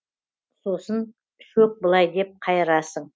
сосын шөк былай деп қайырасың